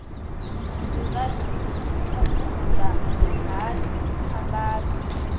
dzi nga thasulula hani dziphambano